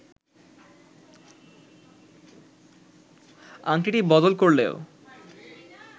আংটি বদল করলেও